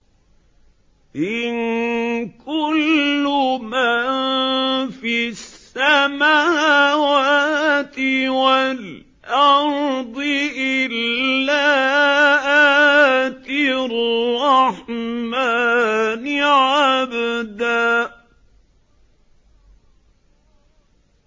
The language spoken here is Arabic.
إِن كُلُّ مَن فِي السَّمَاوَاتِ وَالْأَرْضِ إِلَّا آتِي الرَّحْمَٰنِ عَبْدًا